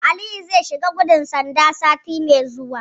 Aliyu zai shiga gudun bada sanda sati mai zuwa.